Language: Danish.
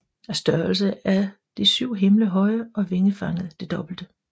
Af størrelse er de syv himle høje og vingefanget det dobbelte